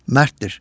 Mərddir.